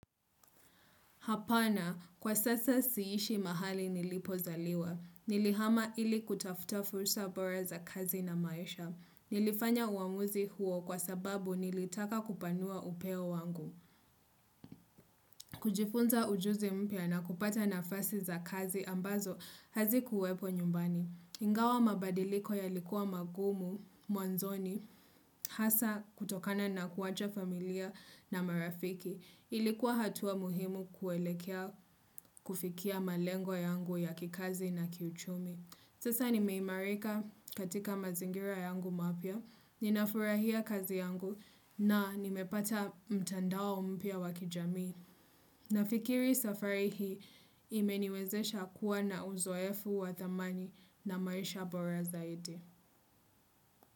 Hapana, kwa sasa siishi mahali nilipozaliwa. Nilihama ili kutafuta fursa bora za kazi na maisha. Nilifanya uamuzi huo kwa sababu nilitaka kupanua upeo wangu. Kujifunza ujuzi mpya na kupata nafasi za kazi ambazo hazi kuwepo nyumbani. Ingawa mabadiliko ya likuwa magumu mwanzoni hasa kutokana na kuwacha familia na marafiki. Ilikuwa hatua muhimu kuelekea kufikia malengo yangu ya kikazi na kiuchumi. Sasa nimeimarika katika mazingira yangu mapia. Ninafurahia kazi yangu na nimepata mtandao mpya wakijamii na fikiri safari hii imeniwezesha kuwa na uzoefu wa thamani na maisha bora zaidi.